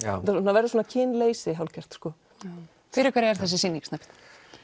verður svona kynleysi hálfgert sko fyrir hverja er þessi sýning Snæbjörn